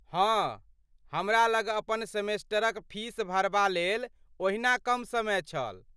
हँ, हमरा लग अपन सेमेस्टरक फीस भरबा लेल ओहिना कम समय छल।